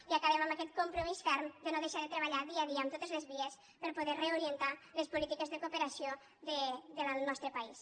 i acabem amb aquest compromís ferm de no deixar de treballar dia a dia en totes les vies per a poder reorientar les polítiques de cooperació del nostre país